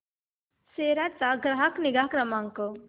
सेरा चा ग्राहक निगा क्रमांक